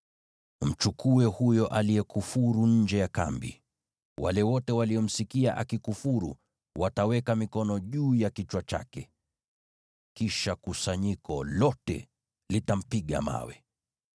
“Mchukue huyo aliyekufuru nje ya kambi. Wale wote waliomsikia akikufuru wataweka mikono juu ya kichwa chake, kisha kusanyiko lote litampiga mawe.